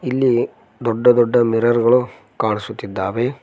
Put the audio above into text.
ಇಲ್ಲಿ ದೊಡ್ಡ ದೊಡ್ಡ ಮಿರರ್ ಗಳು ಕಾಣಿಸುತ್ತಿದ್ದಾವೆ.